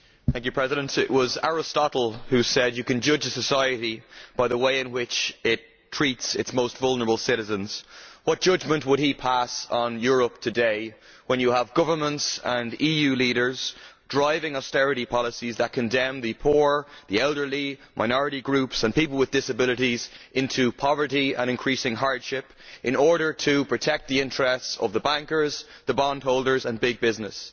Mr President, it was Aristotle who said that you can judge a society by the way in which it treats its most vulnerable citizens. What judgment would he pass on Europe today, when you have governments and EU leaders driving austerity policies that condemn the poor, the elderly, minority groups and people with disabilities to poverty and increasing hardship in order to protect the interests of the bankers, the bond holders and big business?